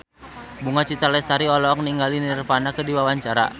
Bunga Citra Lestari olohok ningali Nirvana keur diwawancara